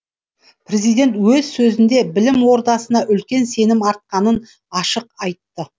президент өз сөзінде білім ордасына үлкен сенім артатынын ашық айтты